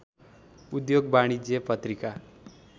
उद्योग वाणिज्य पत्रिका